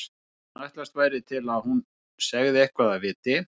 Áður en ætlast væri til að hún segði eitthvað af viti.